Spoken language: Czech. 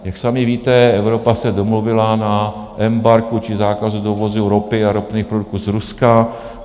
Jak sami víte, Evropa se domluvila na embargu či zákazu dovozu ropy a ropných produktů z Ruska.